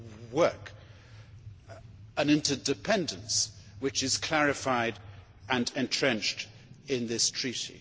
work an interdependence which is clarified and entrenched in this Treaty.